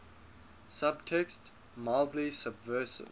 subtext mildly subversive